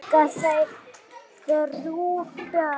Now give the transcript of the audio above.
Eiga þau þrjú börn.